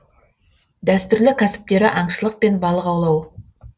дәстүрлі кәсіптері аңшылық пен балық аулау